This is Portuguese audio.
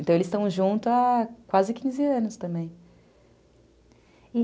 Então, eles estão juntos há quase quinze anos também.